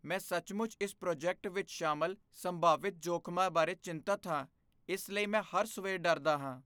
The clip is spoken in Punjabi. ਮੈਂ ਸੱਚਮੁੱਚ ਇਸ ਪ੍ਰੋਜੈਕਟ ਵਿੱਚ ਸ਼ਾਮਲ ਸੰਭਾਵਿਤ ਜੋਖ਼ਮਾਂ ਬਾਰੇ ਚਿੰਤਤ ਹਾਂ, ਇਸ ਲਈ ਮੈਂ ਹਰ ਸਵੇਰ ਡਰਦਾ ਹਾਂ।